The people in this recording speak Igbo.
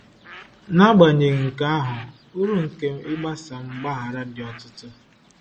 N’agbanyeghị nke ahụ, uru nke ịgbasa mgbaghara dị ọtụtụ.